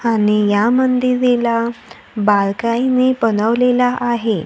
आणि या मनदेवीला बारकाईने बनवलेलं आहे.